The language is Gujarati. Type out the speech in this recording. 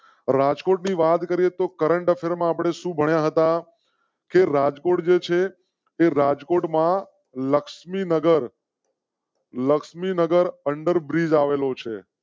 રાજકોટ ની વાત કરીએ તો current affair આપ ને સુ ભણ્યા હતા રાજકોટ છે. રાજકોટ માં લક્ષ્મીનગર. લક્ષ્મીનગર અંડરબ્રિજ આવેલો છે.